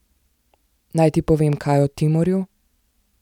Naj ti povem kaj o Timorju?